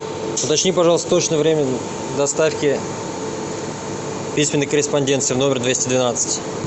уточни пожалуйста точное время доставки письменной корреспонденции в номер двести двенадцать